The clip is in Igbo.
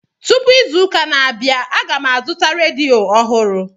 Tụpụ izu ụka na-abịa, aga m azụta redio ọhụrụ